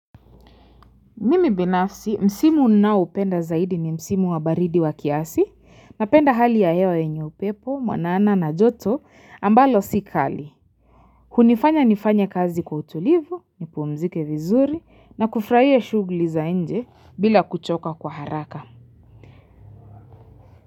Mimi binafsi, msimu ninaoupenda zaidi ni msimu wa baridi wa kiasi, napenda hali ya hewa yenye upepo, mwanana na joto ambalo sikali. Kunifanya nifanye kazi kwa utulivu, nipumzike vizuri na kufurahia shughuli za nje bila kuchoka kwa haraka.